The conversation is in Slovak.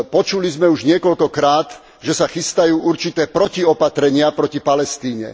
Počuli sme už niekoľkokrát, že sa chystajú určité protiopatrenia proti Palestíne.